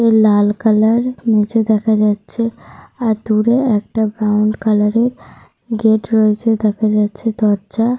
লাল colour নিচে দেখা যাচ্ছে। আর দূরে একটা ব্রাউন কালার -এর গেট রয়েছে দেখা যাচ্ছে দরজা।